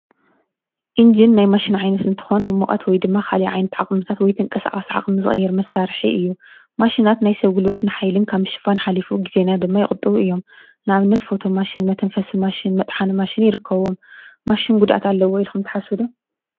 ኢንጅን ናይ ማሽን ዓይነት እንትኮን ሙቆት ወይ ድማ ካሊእ ዓይነት ዓቅሚታት ወይ ተንቀሳቀሲ ዓቅሚ ዝቅይር መሳርሒ እዩ። ማሽናት ናይ ሰብ ጉልበትን ሓይልን ካብ ምሽፋን ሓሊፉ ግዜና ድማ ይቁጥብ እዮም። ንኣብነት ፎቶ ማሽን ፣መተንፈሲ ማሽን፣ መጥሓኒ ማሽን ይርከብዎም። ማሽን ጉድኣት ኣለዎ ኢልኩም ዶ ትሓስቡ ዶ ?